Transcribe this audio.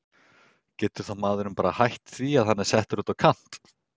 Getur þá maðurinn bara hætt því hann er settur út á kant?